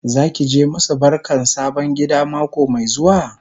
Zaki je ki masu barkan sabon gida mako Mai zuwa?